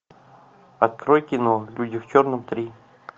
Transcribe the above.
открой кино люди в черном три